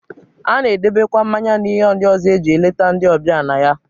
A na-edebekwa mmanya na ihe ndị ọzọ e ji eleta ndị ọbịa na ya.